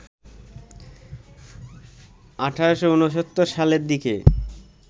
১৮৬৯ সালের দিকে